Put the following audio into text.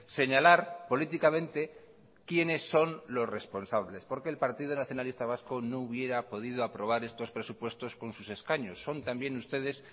señalar políticamente quiénes son los responsables porque el partido nacionalista vasco no hubiera podido aprobar estos presupuestos con sus escaños son también ustedes